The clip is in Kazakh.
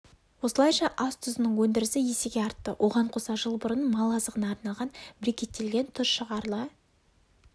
осылайша ас тұзының өндірісі есеге артты оған қоса жыл бұрын мал азығына арналған брикеттелген тұз шығарыла